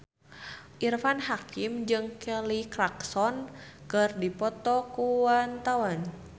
Irfan Hakim jeung Kelly Clarkson keur dipoto ku wartawan